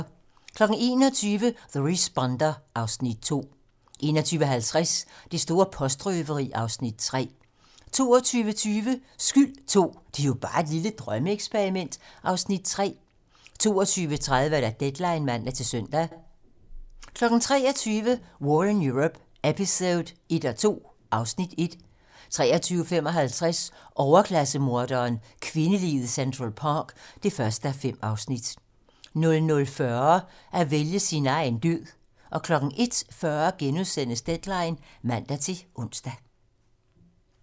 21:00: The Responder (Afs. 2) 21:50: Det store postrøveri (Afs. 3) 22:20: Skyld II - Det er jo bare et lille drømmeeksperiment (Afs. 3) 22:30: Deadline (man-søn) 23:00: War in Europe eps.1-2 (Afs. 1) 23:55: Overklasse-morderen: Kvindeliget i Central Park (1:5) 00:40: At vælge sin egen død 01:40: Deadline *(man-ons)